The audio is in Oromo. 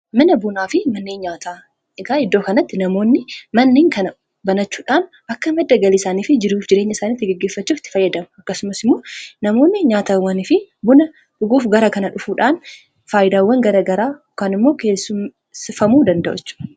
Mana bunaa fi manneen nyaataa ergaa iddoo kanatti namoonni manniin kana banachuudhaan akka madda galiisaanii fi jiruuf jireenya isaanii itti geggeeffachuu itti fayyadamu akkasumas immoo namoonni nyaatawwani fi buna dhuguuf gara kana dhufuudhaan faayidaawwan gara garaa dhuguun immoo keessufamuu danda'u.